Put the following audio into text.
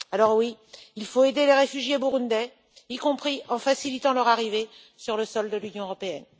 Alors, oui, il faut aider les réfugiés burundais, y compris en facilitant leur arrivée sur le sol de l'Union européenne.